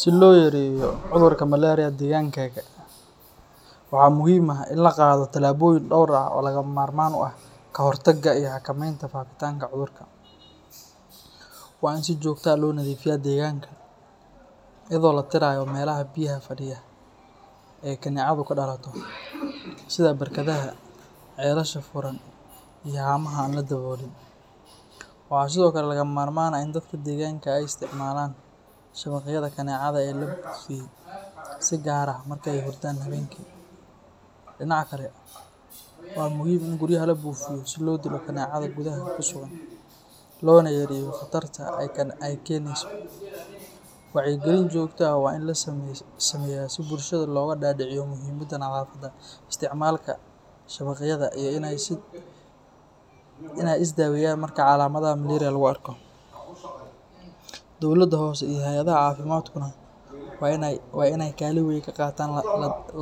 Si loo yareeyo cudurka malaria deegaankaaga, waxaa muhiim ah in la qaado tallaabooyin dhowr ah oo lagama maarmaan u ah ka hortagga iyo xakameynta faafitaanka cudurka. Waa in si joogto ah loo nadiifiyaa deegaanka, iyadoo la tirayo meelaha biyaha fadhiya ah ee ay kaneecadu ku dhalato, sida barkadaha, ceelasha furan iyo haamaha aan la daboolin. Waxaa sidoo kale lagama maarmaan ah in dadka deegaanka ay isticmaalaan shabaqyada kaneecada ee la buufiyey, si gaar ah marka ay hurdaan habeenkii. Dhinaca kale, waa muhiim in guriyaha la buufiyo si loo dilo kaneecada gudaha ku sugan, loona yareeyo khatarta ay keeneyso. Wacyigelin joogto ah waa in la sameeyaa si bulshada looga dhaadhiciyo muhiimadda nadaafadda, isticmaalka shabaqyada, iyo in ay is daweeyaan marka calaamadaha malaria lagu arko. Dowladda hoose iyo hay’adaha caafimaadkuna waa in ay kaalin weyn ka qaataan